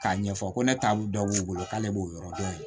K'a ɲɛfɔ ko ne taabolo dɔ b'u bolo k'ale b'o yɔrɔ dɔn